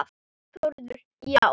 Þórður: Já?